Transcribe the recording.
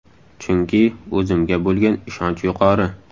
Chunki o‘zimga bo‘lgan ishonch yuqori!